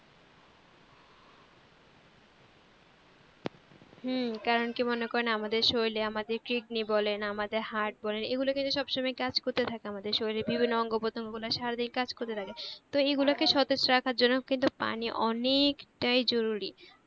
হম কারণ কি মনে আমাদের শরীরে আমাদের kidney বলেন আমাদের heart বলেন এগুলো কিন্তু সব সময় কাজ করতে থাকে আমাদর শরীরে বিভিন্ন অঙ্গ প্রতঙ্গ ওগুলা সারাদিন কাজ করতে থাকে তো এগুলা কে সতেজ রাখার জন্য কিন্তু পানি অনেক টাই জরুরি